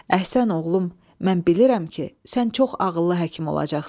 Əhsən oğlum, mən bilirəm ki, sən çox ağıllı həkim olacaqsan.